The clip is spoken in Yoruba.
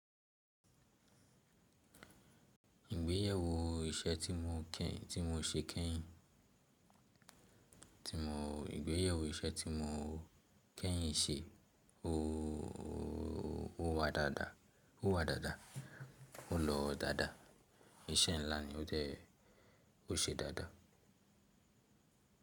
Ìgbéyàwó iṣẹ́ tí mo kẹ́, tí mo ṣe kẹ́yìn, tí mo, ìgbéyàwó iṣẹ́ tí mo kẹ́yìn ṣe ó, ó, ó wá dáadáa, ó wá dáadáa, ó lọ dáadáa. Iṣẹ́ ńlá ni ó jẹ́, ó ṣe dáadáa.